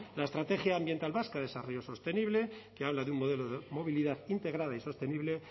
la estrategia ambiental vasca de desarrollo sostenible que habla de un modelo de movilidad integrada y sostenible